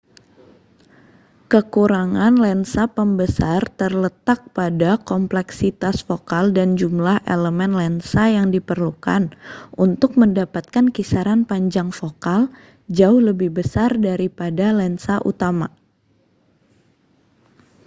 kekurangan lensa pembesar terletak pada kompleksitas fokal dan jumlah elemen lensa yang diperlukan untuk mendapatkan kisaran panjang fokal jauh lebih besar daripada lensa utama